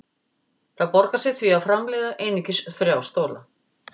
Það borgar sig því að framleiða einungis þrjá stóla.